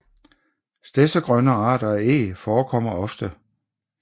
Stedsegrønne arter af Eg forekommer ofte